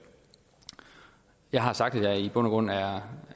jeg har sagt at jeg i bund og grund er